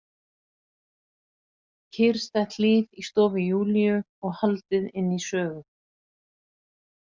Kyrrstætt líf í stofu Júlíu og haldið inn í sögu.